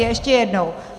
Ještě jednou.